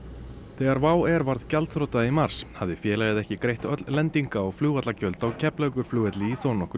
þegar WOW varð gjaldþrota í mars hafði félagið ekki greitt lendingar og flugvallagjöld á Keflavíkurflugvelli í þó nokkurn